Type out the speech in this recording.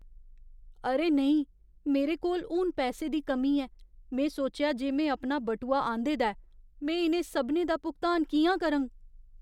अरे नेईं! मेरे कोल हून पैसे दी कमी ऐ, में सोचेआ जे में अपना बटुआ आंह्दे दा ऐ। में इ'नें सभनें दा भुगतान कि'यां करङ?